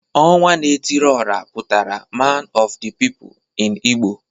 Onwa na etiri ora putara man of the people in Igbo